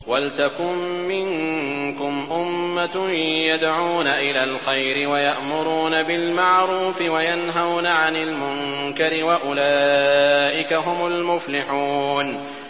وَلْتَكُن مِّنكُمْ أُمَّةٌ يَدْعُونَ إِلَى الْخَيْرِ وَيَأْمُرُونَ بِالْمَعْرُوفِ وَيَنْهَوْنَ عَنِ الْمُنكَرِ ۚ وَأُولَٰئِكَ هُمُ الْمُفْلِحُونَ